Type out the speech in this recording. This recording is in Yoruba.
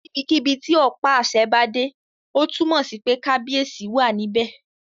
Níbikíbi tí ọ̀pá àṣẹ bá dé, ó túnmọ̀ sí pé kábíyèsí wà níbẹ̀